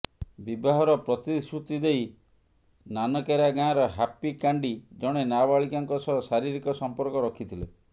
ବିବାହର ପ୍ରତିଶ୍ରୁତି ଦେଇ ନାନକେରା ଗାଁର ହାପି କାଣ୍ଡି ଜଣେ ନାବାଳିକାଙ୍କ ସହ ଶାରୀରିକ ସମ୍ପର୍କ ରଖିଥିଲେ